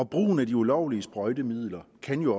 brugen af de ulovlige sprøjtemidler kan jo